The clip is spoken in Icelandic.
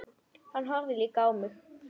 Hann horfði líka á mig.